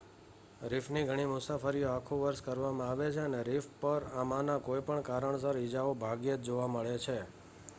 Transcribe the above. રીફની ઘણી મુસાફરીઓ આખું વર્ષ કરવામાં આવે છે અને રીફ પર આમાંના કોઈ પણ કારણસર ઇજાઓ ભાગ્યે જ જોવા મળે છે